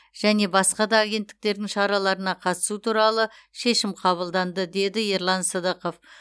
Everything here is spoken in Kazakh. және басқа да агентіктердің шараларына қатысту туралы шешім қабылданды деді ерлан сыдықов